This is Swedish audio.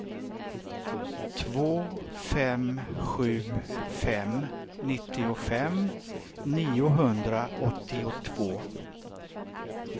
två fem sju fem nittiofem niohundraåttiotvå